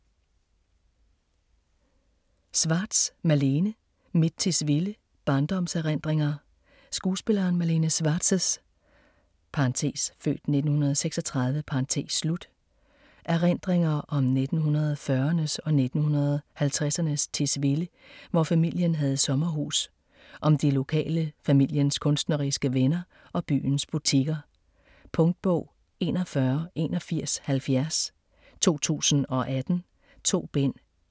Schwartz, Malene: Mit Tisvilde: barndomserindringer Skuespillerinden Malene Schwartz' (f. 1936) erindringer om 1940'ernes og 1950'ernes Tisvilde, hvor familien havde sommerhus. Om de lokale, familiens kunstneriske venner og byens butikker. Punktbog 418170 2018. 2 bind.